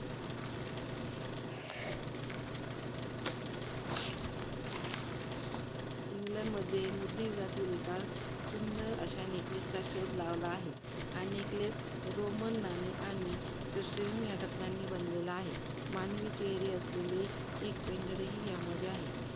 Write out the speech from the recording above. इंग्लंडमध्ये मध्ययुगातील एका सुंदर अशा neckless चा शोध लावला आहे. हा neckless roman आणि crastesian या रत्नांनी बनवलेला आहे. मानवी चेहरे असेलेले एक pendent ही त्यामध्ये आहे.